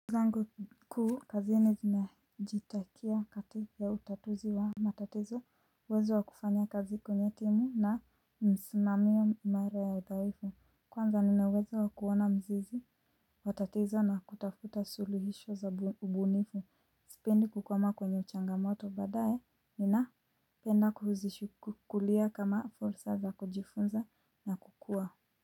Zangu kuu kazini kinajitakia kati ya utatuzi wa matatizo uwezo wa kufanya kazi kwenye timu na msimamiyo imara ya dhaifu Kwanza nina uwezo wa kuona mzizi wa tatizo na kutafuta suluhisho za ubunifu Spendi kukwama kwenye changamoto badae Ninapenda kuzishukulia kama fulsa za kujifunza na kukua.